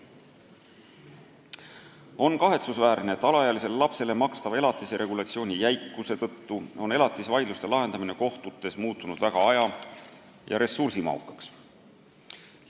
On kahetsusväärne, et alaealisele lapsele makstava elatise regulatsiooni jäikuse tõttu on elatisvaidluste lahendamine kohtutes muutunud väga aja- ja ressursimahukaks.